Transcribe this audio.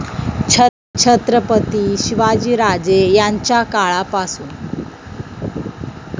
छत्रपती शिवाजीराजे यांच्या काळापासून